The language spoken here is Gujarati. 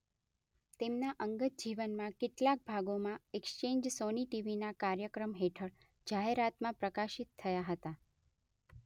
તેમના અંગત જીવનનાં કેટલાક ભાગોમાં એક્સચેન્જ સોની ટીવીના કાર્યક્રમ હેઠળ જાહેરમાં પ્રકાશિત થયા હતા.